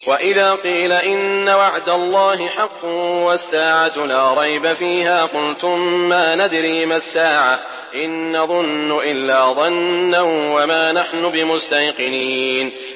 وَإِذَا قِيلَ إِنَّ وَعْدَ اللَّهِ حَقٌّ وَالسَّاعَةُ لَا رَيْبَ فِيهَا قُلْتُم مَّا نَدْرِي مَا السَّاعَةُ إِن نَّظُنُّ إِلَّا ظَنًّا وَمَا نَحْنُ بِمُسْتَيْقِنِينَ